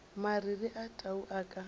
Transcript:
mariri a tau a ka